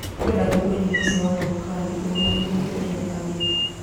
Nĩngwenda kũigua nyĩmbo cia wanavokali irũmanĩrĩire uria bagite